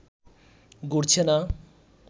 ঘুরছে না